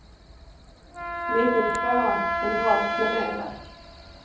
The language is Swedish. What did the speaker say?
Liten tvåa, men bra planerad.